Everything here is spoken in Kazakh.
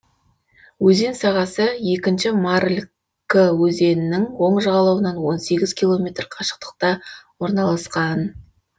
өзен сағасы екінші марыль кы өзенінің оң жағалауынан он сегіз километр қашықтықта орналасқан